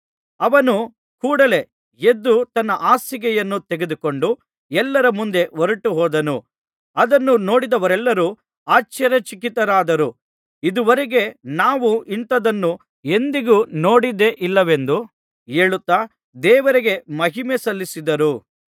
ಅವನು ಕೂಡಲೆ ಎದ್ದು ತನ್ನ ಹಾಸಿಗೆಯನ್ನು ತೆಗೆದುಕೊಂಡು ಎಲ್ಲರ ಮುಂದೆ ಹೊರಟುಹೋದನು ಅದನ್ನು ನೋಡಿದವರೆಲ್ಲರು ಆಶ್ಚರ್ಯಚಕಿತರಾದರು ಇದುವರೆಗೆ ನಾವು ಇಂಥದನ್ನು ಎಂದಿಗೂ ನೋಡಿದ್ದೇ ಇಲ್ಲವೆಂದು ಹೇಳುತ್ತಾ ದೇವರಿಗೆ ಮಹಿಮೆ ಸಲ್ಲಿಸಿದರು